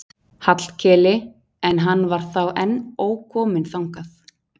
Hallkeli en hann var þá enn ókominn þangað.